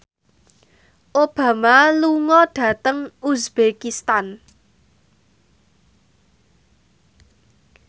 Obama lunga dhateng uzbekistan